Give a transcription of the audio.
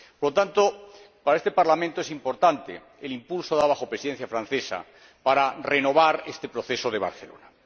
Por lo tanto, para este Parlamento es importante el impulso dado bajo la Presidencia francesa para renovar este Proceso de Barcelona.